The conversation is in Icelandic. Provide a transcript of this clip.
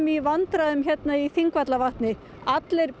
í vandræðum í Þingvallavatni allir